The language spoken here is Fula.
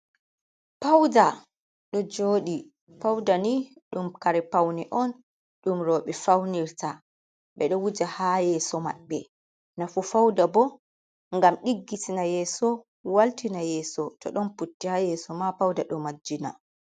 Pauɗa ɗo joɗi. Pauɗa ni ɗum kare paune on ɗum roɓe faunirta. Be ɗo wuja ha yeso maɓbe. nafu fauɗa bo gam diggitina yeso waltina yeso to ɗon putti ha yeso ma pauɗa do majjina.